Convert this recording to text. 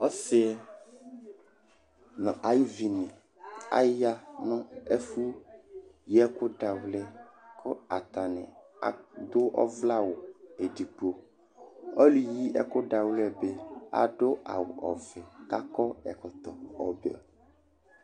osi nu ayuʋini ayanu ɛfuyiɛkuda xlẽ kuatani aduɔʋlẽ awuɛdigbo ɔluyiɛkuda xlẽ bi aɖu awuɔƒi kuakɔɛkɔtɔ ɔʋẽ